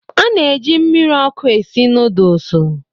A na-eji mmiri ọkụ esi nudlesu